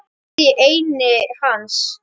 Gat í enni hans.